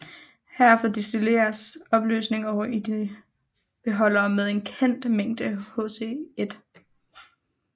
Herefter destilleres opløsningen over i en beholder med en kendt mængde HCl